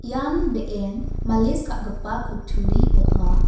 ian be·en malis ka·gipa kutturi ong·a.